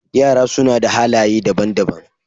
Yara suna da halaye daban-daban.